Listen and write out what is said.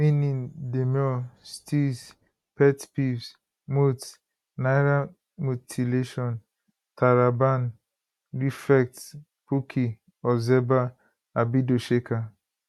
meaning demure steeze pet peeves moots naira mutilation taraban refect pookie ozeba abido shaker